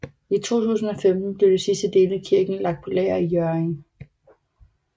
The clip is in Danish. I 2015 blev de sidste dele af kirken lagt på lager i Hjørring